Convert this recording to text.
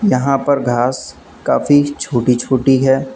यहां पर घास काफी छोटी छोटी है।